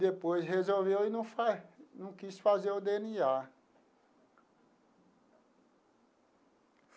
Depois resolveu e não fa não quis fazer o dê ene á.